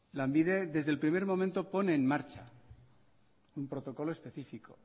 lanbide desde el primer momento pone en marcha un protocolo específico